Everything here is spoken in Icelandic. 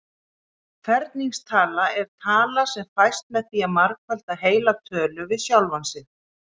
Ferningstala er tala sem fæst með því að margfalda heila tölu við sjálfa sig.